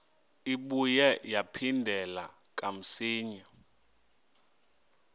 ibuye yaphindela kamsinya